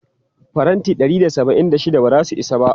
Faranti ɗari da saba'in da shida ba za su isa ba.